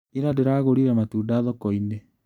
Ira ndĩragũrire matunda thokoinĩ.